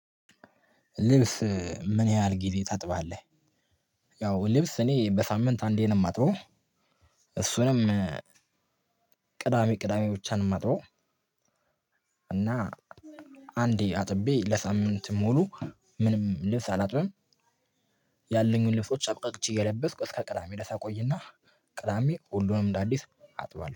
ልብስ ምን ያህል ጊዜ ታጥባለህ? ያው ልብስ እኔ በሳምንት አንዴን ነው የማጥበው። እሱንም ቅዳሜ ቅዳሜ ብቻ ነው ማጥበው። እና አንዴ አጥቤ ለሳምንት ሙሉ ምንም ልብስ አላጥበንም። ያለኝን ልብሶች አብቃቅቼ እየለበስኩ እስከ ቅዳሜ ድረስ አቆይና ቅዳሜ ሁሉንም እንደ አዲስ አጥቧል